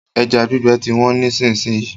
Ẹja gbígbẹ ti wọ́n nísìsiyìí.